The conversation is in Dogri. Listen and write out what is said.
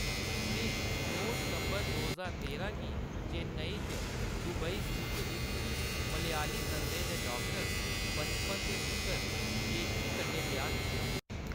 उʼनें नौ सितंबर दो ज्हार तेरां गी चेन्नई च दुबई स्थित इक मलयाली दंदें दे डाक्टर, बचपन दे मित्तर जेशली कन्नै ब्याह्‌‌ कीता।